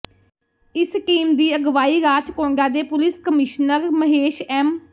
ਇਸ ਟੀਮ ਦੀ ਅਗਵਾਈ ਰਾਚਕੋਂਡਾ ਦੇ ਪੁਲਿਸ ਕਮਿਸ਼ਨਰ ਮਹੇਸ਼ ਐਮ